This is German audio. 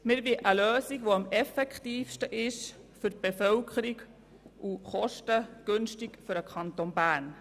Wir wollen eine Lösung, die am effektivsten für die Bevölkerung ist und kostengünstig für den Kanton Bern.